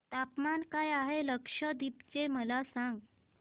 तापमान काय आहे लक्षद्वीप चे मला सांगा